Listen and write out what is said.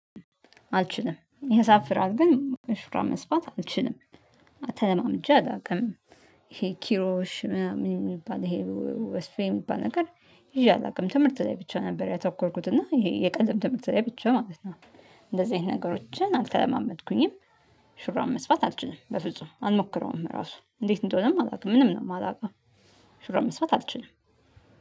አልችልም ያሳፍራል ግን ሹራብ መስራት አልችልም። ተለማምጄ አላውቅም። ይሄ ኪሮሽ ምናምን የሚባል ይሄ ወስፌ የሚባል ነገር ይዤ አላውቅም ትምህርት ላይ ብቻ ነበር ያተኮርኩት እና ይሄ የቀለም ትምህርት ላይ ብቻ ማለት ነው። እንደዚህ አይነት ነገሮችን አልተለማመድኩኝም። ሹራብ መስፋት አልችልም በፍጹም አልሞክረውም ራሱ እንዴት እንደሆነም አላውቅም ምንም ነው የማላውቀው። ሹራብ መስፋት አልችልም